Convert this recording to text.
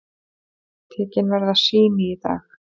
Tekin verða sýni í dag.